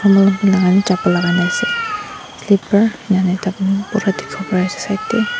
chappal lakai na asae slipper enka hoina pura diki po pari asae side dae.